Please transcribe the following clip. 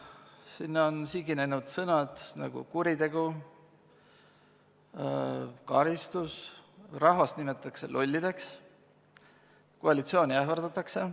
Sinna on siginenud sellised sõnad nagu "kuritegu", "karistus", rahvast nimetatakse lollideks, koalitsiooni ähvardatakse.